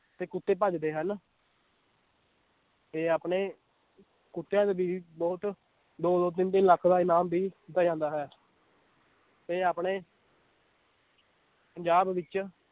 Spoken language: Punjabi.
ਤੇ ਕੁੱਤੇ ਭੱਜਦੇ ਹਨ ਤੇ ਆਪਣੇ ਕੁੱਤਿਆਂ ਤੇ ਵੀ ਬਹੁਤ ਦੋ ਦੋ ਤਿੰਨ ਤਿੰਨ ਲੱਖ ਦਾ ਇਨਾਮ ਵੀ ਜਾਂਦਾ ਹੈ ਤੇ ਆਪਣੇ ਪੰਜਾਬ ਵਿੱਚ